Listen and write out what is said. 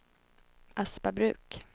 Aspabruk